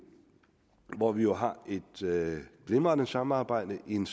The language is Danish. hvor vi jo har et glimrende samarbejde i en